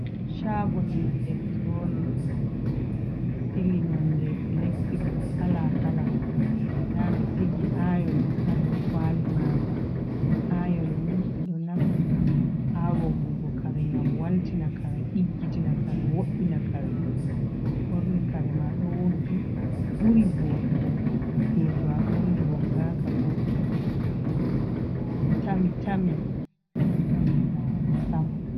Shago je elektronic do sili nonde electri kalakala, nda ɓe sigi ayon ha dow kwali manga. Ayon ni ɓe ɗo naftira ha woggugo kare gam waltiaare, diggitina kare, wo’inakare to a borni kare ma do woggi buri vodugo do to a borni woggaka. Bo do tami tami boɗai larugo sam.